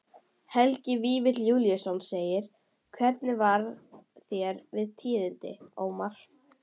Helgi Vífill Júlíusson: Hvernig varð þér við tíðindin, Ómar?